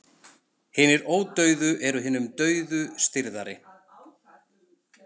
Hinir ódauðu eru hinum dauðu stirðari.